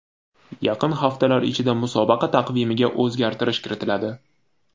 Yaqin haftalar ichida musobaqa taqvimiga o‘zgartirish kiritiladi .